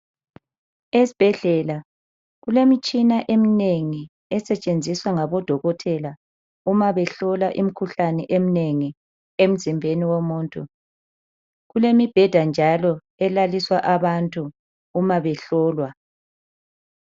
Esibhedlela kulemitshina eminengi esetshenziswa ngabodokotela uma behlola imikhuhlane eminengi emzimbeni womuntu. Kulemibheda njalo elaliswa abantu uma behlolwa.